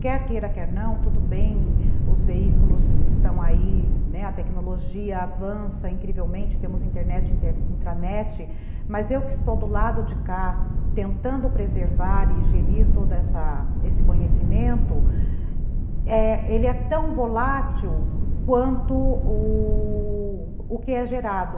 Quer queira, quer não, tudo bem, os veículos estão aí, né, a tecnologia avança incrivelmente, temos internet, intranet, mas eu que estou do lado de cá, tentando preservar e gerir todo essa, esse conhecimento, ele é tão volátil, quanto u... u que é gerado.